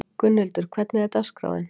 Gunnhildur, hvernig er dagskráin?